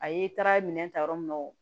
A ye taara minɛ ta yɔrɔ min na o